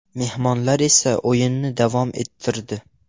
Mehmonlar esa o‘yinni davom ettirdi.